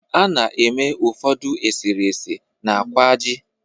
A na-eme ụfọdụ eserese na kwaaji